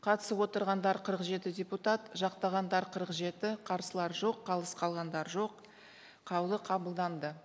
қатысып отырғандар қырық жеті депутат жақтағандар қырық жеті қарсылар жоқ қалыс қалғандар жоқ қаулы қабылданды